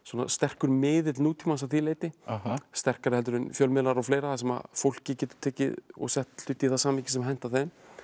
sterkur miðill nútímans að því leyti sterkari en fjölmiðlar og fleira þar sem fólkið getur tekið og sett hluti í það samhengi sem hentar þeim